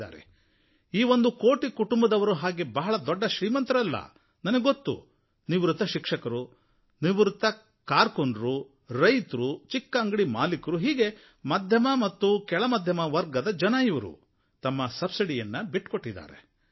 ಹಾಗೆ ನೋಡಿದರೆ ಈ ಒಂದು ಕೋಟಿ ಕುಟುಂಬದವರು ಬಹಳ ದೊಡ್ಡ ಶ್ರೀಮಂತರಲ್ಲ ನನಗೆ ಗೊತ್ತು ನಿವೃತ್ತ ಶಿಕ್ಷಕರು ನಿವೃತ್ತ ಕಾರಕೂನರು ರೈತರು ಚಿಕ್ಕ ಅಂಗಡಿ ಮಾಲೀಕರು ಹೀಗೆ ಮಧ್ಯಮ ಮತ್ತು ಕೆಳ ಮಧ್ಯಮ ವರ್ಗದ ಜನ ಇವರು ತಮ್ಮ ಸಬ್ಸಿಡಿಯನ್ನು ಬಿಟ್ಟುಕೊಟ್ಟಿದ್ದಾರೆ